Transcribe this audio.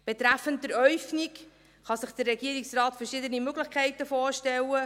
Betreffend die Äufnung kann sich der Regierungsrat verschiedene Möglichkeiten vorstellen.